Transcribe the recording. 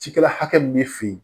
Cikɛla hakɛ min bɛ fɛ yen